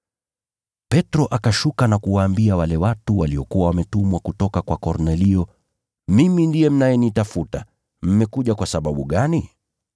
Petro akashuka na kuwaambia wale watu waliokuwa wametumwa kutoka kwa Kornelio, “Mimi ndiye mnayenitafuta. Mmekuja kwa sababu gani?”